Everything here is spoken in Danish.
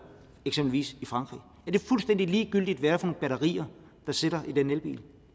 det fuldstændig ligegyldigt hvad det er for et batteri der sidder i den elbil